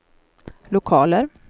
lokaler